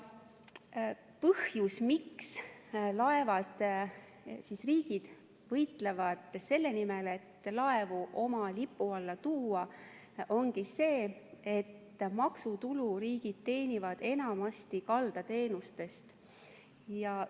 Põhjus, miks riigid võitlevad selle nimel, et laevu oma lipu alla tuua, ongi see, et maksutulu teenivad riigid enamasti kaldateenuste pealt.